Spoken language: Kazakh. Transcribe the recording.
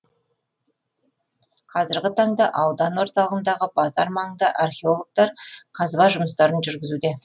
қазіргі таңда аудан орталығындағы базар маңында археологтар қазба жұмыстарын жүргізуде